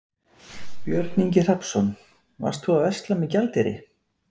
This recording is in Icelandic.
Björn Ingi Hrafnsson: Varst þú að versla með gjaldeyri?